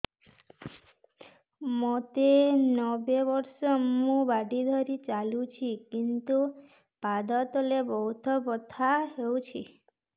ମୋତେ ନବେ ବର୍ଷ ମୁ ବାଡ଼ି ଧରି ଚାଲୁଚି କିନ୍ତୁ ପାଦ ତଳ ବହୁତ ବଥା ହଉଛି